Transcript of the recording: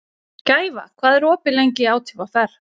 Gæfa, hvað er opið lengi í ÁTVR?